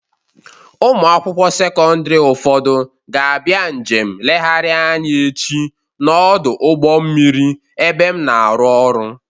Ụmụ akwụkwọ sekọndịrị ụfọdụ ga-abịa njem nlegharị anya echi n'ọdụ ụgbọ mmiri ebe m na-arụ ọrụ.